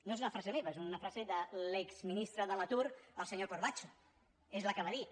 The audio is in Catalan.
no és una frase meva és una frase de l’exministre de l’atur el senyor corbacho és la que va dir